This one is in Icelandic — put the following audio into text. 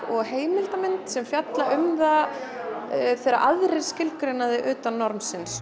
og heimildamynd sem fjalla um það þegar aðrir skilgreina þig utan